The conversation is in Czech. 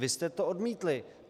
Vy jste to odmítli.